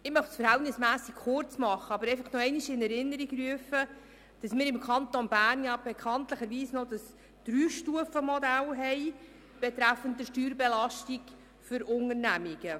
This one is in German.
Ich möchte mich verhältnismässig kurz fassen, aber nochmals in Erinnerung rufen, dass wir im Kanton Bern bekanntlich über das Dreistufenmodell betreffend die Steuerbelastung für Unternehmungen verfügen.